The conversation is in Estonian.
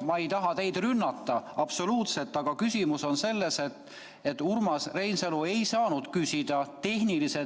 Ma ei taha teid rünnata absoluutselt, aga küsimus on selles, et Urmas Reinsalu ei saanud küsida tehnilise